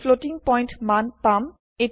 আমি floating point মান পাম